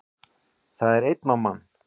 Það er einn á mann